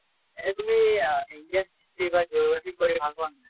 এনেই তুমি অ indian history বা geography পঢ়ি ভাল পোৱা নে নাই?